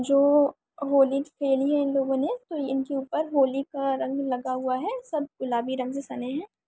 जो होली खेली हैं इन लोगों ने तो इनके ऊपर सब होली का रंग लगा हुआ है सब गुलाबी रंग से सने हैं।